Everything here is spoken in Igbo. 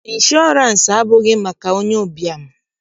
Ịnshọọransị abụghị maka onye ụbịam